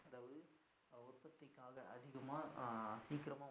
சீக்கிரமா அஹ்